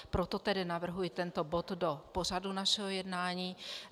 Proto tedy navrhuji tento bod do pořadu našeho jednání.